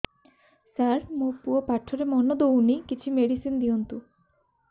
ସାର ମୋର ପୁଅ ପାଠରେ ମନ ଦଉନି କିଛି ମେଡିସିନ ଦିଅନ୍ତୁ